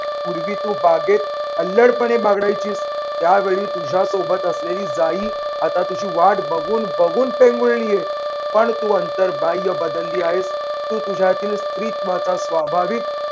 पूर्वी तू बागेत अल्लडपणे बागडायचीस. त्या वेळी तुझ्यासोबत असलेली जाई आता तुझी वाट बघून बघून पेंगुळलेय, पण तू अंतर्बाह्य बदलली आहेस. तू तुझ्यातील स्त्रीत्त्वाचा स्वाभाविक